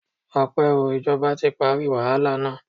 Ọpẹ́ o. Ìjọba ti parí wàhálà na.